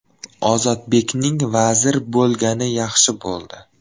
Ozodbekning vazir bo‘lgani yaxshi bo‘ldi.